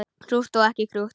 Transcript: Krútt og ekki krútt.